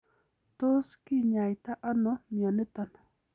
Tos kinyaita ono mioniton?